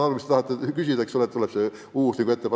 Te tahtsite küsida, eks ole, kas tuleb reformi uus etapp.